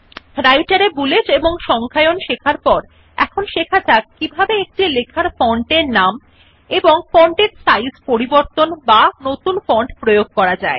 রাইটের এ বুলেট ও নম্বর দেওয়া শেখার পর এখন শেখা যাক কিভাবে কোন লেখার ফন্ট এর নাম এবং ফন্ট সাইজ পরিবর্তন করা বা প্রয়োগ করা যায়